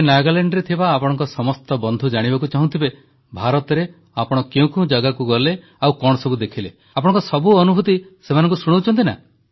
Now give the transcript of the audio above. ତେବେ ନାଗାଲାଣ୍ଡରେ ଥିବା ଆପଣଙ୍କ ସମସ୍ତ ବନ୍ଧୁ ଜାଣିବାକୁ ଚାହୁଁଥିବେ ଯେ ଭାରତରେ ଆପଣ କେଉଁ କେଉଁ ଜାଗାକୁ ଗଲେ କଣ ସବୁ ଦେଖିଲେ ଆପଣଙ୍କ ସବୁ ଅନୁଭୂତି ସେମାନଙ୍କୁ ଶୁଣାଉଛନ୍ତି ନା